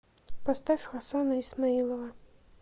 поставь хасана исмоилова